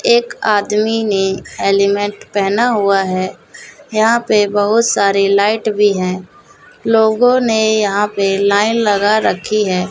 एक आदमी ने हेलमेट पहना हुआ है यहाँ पे बहुत सारे लाइट भी है लोगों ने यहाँ पे लाइन लगा रखी है।